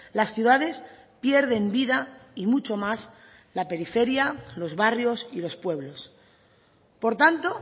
las ciudades pierden vida y mucho más la periferia los barrios y los pueblos por tanto